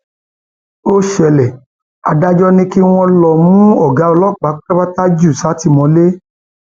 ó ṣẹlẹ adájọ ni kí wọn lọọ mú ọgá ọlọpàá pátápátá jù sátìmọlé